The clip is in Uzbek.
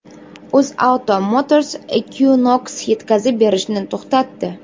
UzAuto Motors Equinox yetkazib berishni to‘xtatdi.